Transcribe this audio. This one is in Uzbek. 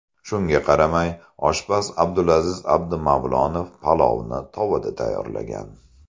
Shunga qaramay, oshpaz Abdulaziz Abdumavlonov palovni tovada tayyorlagan.